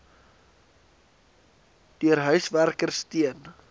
deur huiswerkers teen